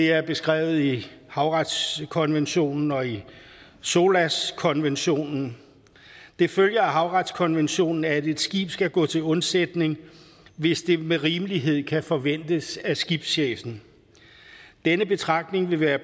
er beskrevet i havretskonventionen og i solas konventionen det følger af havretskonventionen at et skib skal gå til undsætning hvis det med rimelighed kan forventes af skibschefen denne betragtning vil være